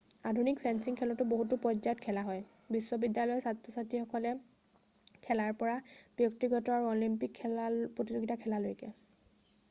আধুনিক ফেন্সিং খেল বহুতো পৰ্যায়ত খেলা হয় বিশ্বিবিদ্যালয়ত ছাত্ৰ-ছাত্ৰীসকলে খেলাৰ পৰা বৃত্তিগত আৰু অলিম্পিক প্ৰতিযোগিতা খেলালৈকে